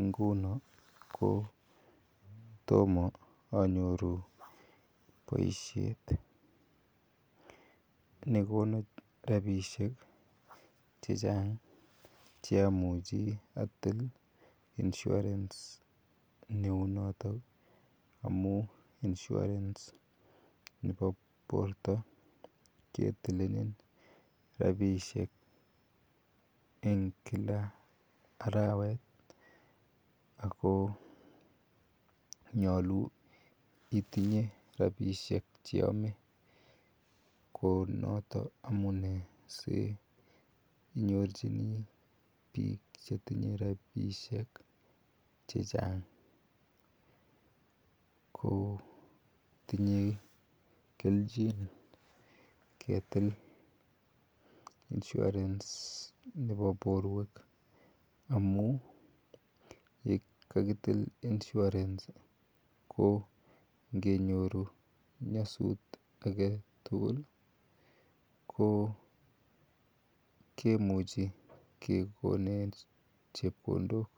inguni , toma anyoru poishet ne kona rapishek che chang' che amuchi atil insurance neu notok amu insurance nepo porto ketilenin rapishek eng' kila arawet ako nyalu itinye rapishek che yame. Ko notok amu nee si inyorchini piik che tinye rapishek che chang' ko tinyei kelchin ketil insurance nepo porwek amu ko kakitil insurace ko nge nyoru nyasut age tugul ko kimuchi kekonech chepkondok.